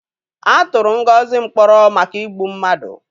A tụrụ Ngozi mkpọrọ maka igbu mmadụ.